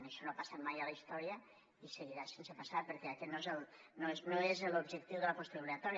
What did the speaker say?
això no ha passat mai a la història i seguirà sense passar perquè aquest no és l’objectiu de la postobligatòria